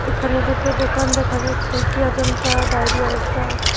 এখানে দুটো দোকান দেখা যাচ্ছে একটি অজন্তা ডায়রি আরেকটা--